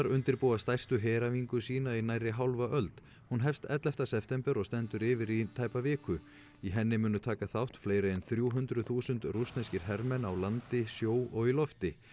undirbúa stærstu heræfingu sína í nærri hálfa öld hún hefst ellefu september og stendur yfir í tæpa viku í henni munu taka þátt fleiri en þrjú hundruð þúsund rússneskir hermenn á landi sjó og í lofti